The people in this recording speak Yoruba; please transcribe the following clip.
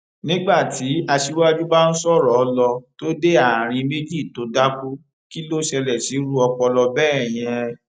nígbà tí aṣíwájú bá ń sọrọ lọ tó dé àárín méjì tó dákú kí ló ṣẹlẹ sírú ọpọlọ bẹẹ yẹn